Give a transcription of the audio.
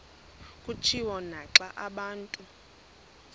kutshiwo naxa abantu